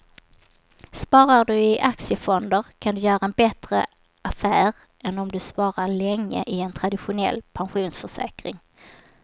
Sparar du i aktiefonder kan du göra en bättre affär än om du sparar länge i en traditionell pensionsförsäkring.